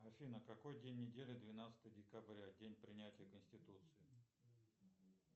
афина какой день недели двенадцатое декабря день принятия конституции